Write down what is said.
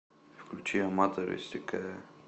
включи аматори стекая